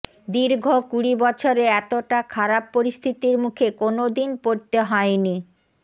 দীর্ঘ কুড়ি বছরে এতটা খারাপ পরিস্থিতির মুখে কোনওদিন পড়তে হয়নি